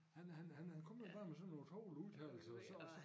Han han han han kommer jo bare med sådan nogen tovlige udtalelser og så og så